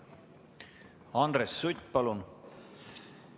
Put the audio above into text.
Andres Sutt, palun!